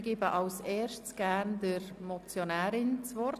Ich gebe zuerst gerne der Motionärin das Wort.